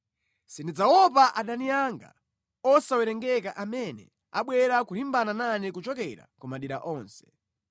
Sindidzaopa adani anga osawerengeka amene abwera kulimbana nane kuchokera ku madera onse.